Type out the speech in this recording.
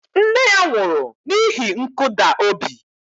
Nne ya nwụrụ n'ihi nkụda obi